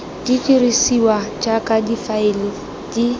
di dirisiwa jaaka difaele di